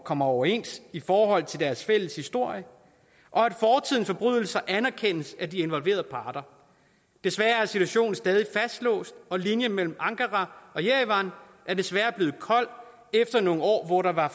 kommer overens i forhold til deres fælles historie og at fortidens forbrydelser anerkendes af de involverede parter desværre er situationen stadig fastlåst og linjen mellem ankara og jerevan er desværre blevet kold efter nogle år hvor der var